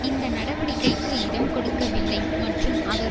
இந்த நடவடிக்கைக்கு இடம் கொடுக்கவில்லை மற்றும் அவர்